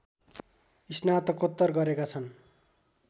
स्नातकोत्तर गरेका छन्